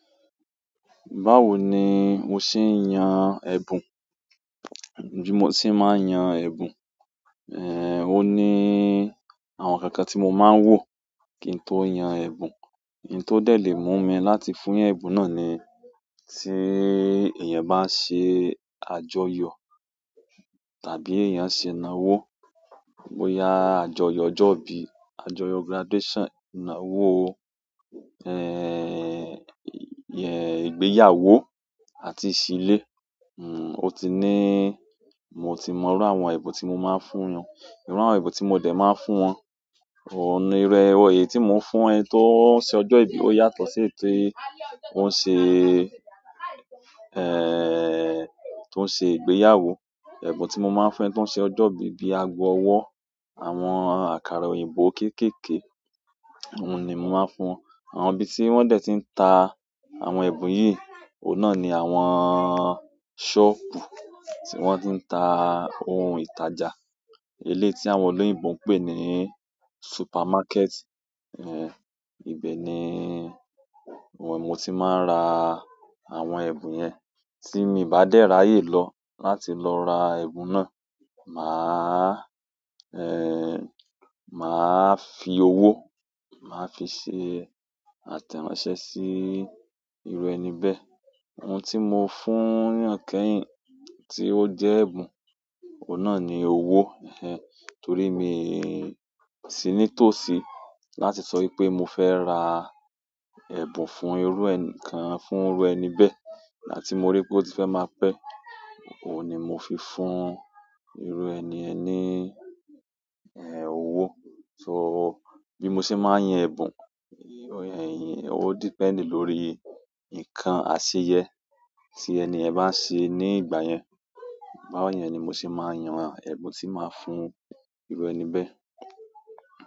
Báwo ni o ṣe ń yan ẹ̀bùn? Bí mo ṣe máa ń yan ẹ̀bùn, eh, ó ní àwọn ǹkan kan tí mo máa ń wò kí n tó yan ẹ̀bùn. Hin tó dẹ̀ le mú mi láti fún ẹbùn náà ni tí èèyàn bá n ṣe àjọyọ̀ tàbí èèyàn ṣe ìnáwó. Bo ya àjọyọ̀ ọjọ́ ìbí, àjọyọ̀ graduation, ìnáwó, eh, eh, ìgbéyàwó àti ìsilé. Nno, ó ti ní mo ti mọ irú àwọn ẹ̀bùn tí mo máa ń fún wọn. Irú àwọn ẹ̀bùn tí mo dẹ̀ máa ń fún wọn. Ohun irú ẹ. Ìròyìn tí mò ń fún ẹ tí wọ́n ń ṣe ọjọ́ ìbí ó yàtọ̀ sí ètí wọ́n ṣe, eh, tí wọ́n ṣe ìgbéyàwó. Ẹ̀bùn tí mo máa ń fún ẹ tí wọ́n ń ṣe ọjọ́ ìbí bíi ago ọwọ́, àwọn àkàrà òyìnbó kékèèké, ohun ní mo máa ń fún wọn. Àwọn ibi tí wọ́n dẹ̀ ti ń ta àwọn ẹ̀bùn yìí, òun náà ni àwọn sọ́ọ̀bù tí wọ́n ti ń ta ohun ìtajà. Eléyi tí àwọn olóyìnbo ń pè ní supermarket. Eh, ibẹ̀ ni wọ́n mo ti máa ń ra àwọn ẹ̀bùn yẹn. Tí mi bá dẹ̀ ra ayé lọ láti lọ ra ẹ̀bùn náà, màá, eh, màá fi owó, mà á fi ṣe àtẹ̀ránsẹ́ sí irú ẹni bẹ́ẹ̀. Oun ti mo fún eeyan kẹ́yìn ti o je ẹ̀bùn oun náà ni owo ehnehn torí mi sì ní tòsí láti sọ wipé mo fẹ́ ra ẹ̀bùn fún irú ẹni kan, fún irú ẹni bẹ́ẹ̀ igbatí mo rí pé ó ti fẹ́ máa pẹ́. Óun ni mo fi fún irú ẹni yẹn ni, eh, owó. So bí mo ṣe máa ń yan ẹ̀bùn, o yẹ. O depend lórí ǹkan àṣìyẹ́ tí ẹni ẹ̀yàn bá ń ṣe ní ìgbà yẹn. Báyẹn ni mo sì máa ń yan ẹ̀bùn tí màá fún irú ẹni bẹ́ẹ̀.